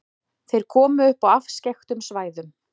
Þeir komu upp á afskekktum svæðum.